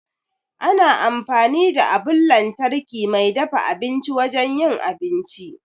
Ana amfani da abun lantarki mai dafa abinci wajen yin abinci.